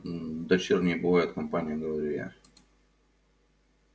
мм дочерней бывает компания говорю я